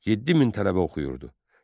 7000 tələbə oxuyurdu.